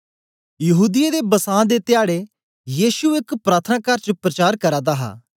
यहूदीयें दे बसां दे धयाड़ै यीशु एक प्रार्थनाकार च प्रचार करा दा हा